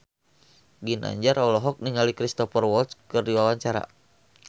Ginanjar olohok ningali Cristhoper Waltz keur diwawancara